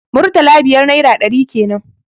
Murtala biyar naira ɗari kenan